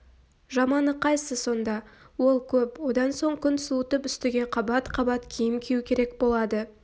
жаманы қайсы сонда ол көп одан соң күн суытып үстіге қабат-қабат киім кию керек болады